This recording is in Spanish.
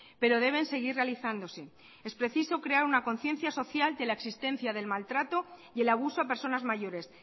pero deben seguir realizándose es preciso crear una conciencia social de la existencia del maltrato y el abuso a personas mayores